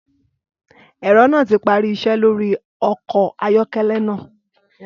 Ẹ̀rọ náà ti parí iṣẹ́ lórí ọkọ̀ ayọ́kẹ́lẹ́ náà.